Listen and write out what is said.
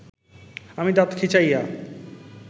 আমি দাত খিঁচাইয়া